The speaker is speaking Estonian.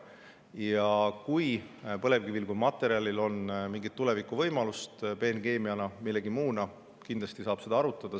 Ja kui põlevkivil kui materjalil on mingeid võimalusi tulevikus, peenkeemiana või millegi muuna, siis kindlasti saab seda arutada.